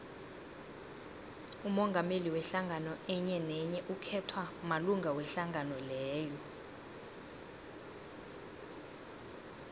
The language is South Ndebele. umongameli wehlangano enyenenye ukhethwa malunga wehlangano leyo